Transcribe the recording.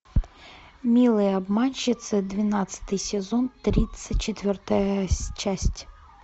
милые обманщицы двенадцатый сезон тридцать четвертая часть